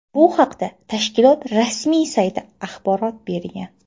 Bu haqda tashkilot rasmiy sayti axborot bergan.